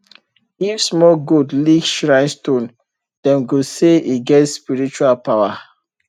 if small goat lick shrine stone dem go say e get spiritual power